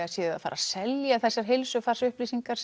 séuð að fara að selja þessar upplýsingar